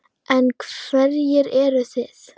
En hverjir eru þeir?